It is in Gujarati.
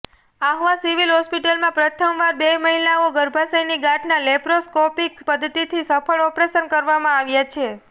આહવા સીવીલ હોસ્પિટલમાં પ્રથમવાર બે મહિલાઓ ગર્ભાશયની ગાંઠના લેપ્રોસ્કોપીક પધ્ધતિથી સફળ ઓપરેશન કરવામાં આવ્યા છે